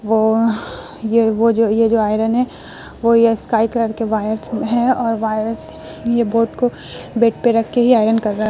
वो ये वो जो ये जो आयरन है वो ये स्काई कलर के वायर में है। और वायर ये बोट को बेड पे रख के ही आयरन कर रहा है।